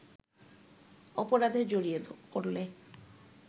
অপরাধে জড়িয়ে পড়লে